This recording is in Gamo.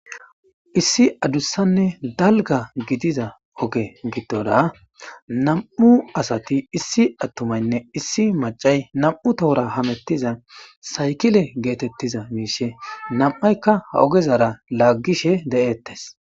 Issi adussanne dalga gidiza oge giddoda nam7u asati issi attumaynne issi macay nam7u tohora hamettiza saykile geetettiza miishe nam7aykka ha ogezara laaggishe de7ettes.